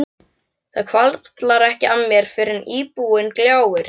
Það hvarflar ekki að mér fyrr en íbúðin gljáir.